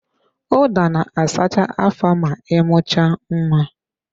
Ụda na-asacha afọ ma ị mucha nwa